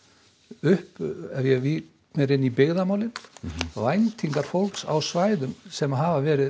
upp ef ég vík mér inn í byggðamálin væntingar fólks á svæðum sem hafa verið